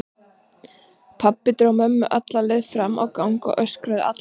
Pabbi dró mömmu alla leið fram á gang og öskraði allan tímann.